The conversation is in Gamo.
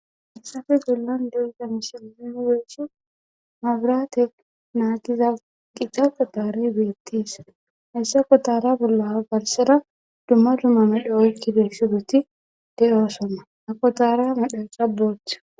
Hayissafe gollan deyda mislein siigeeshi mabiraate naagiza qica qotari beettees hessa qotara bolla galsera dumma dummamedho7oykkideesidoti de7oosonna a kotara madhasa boocha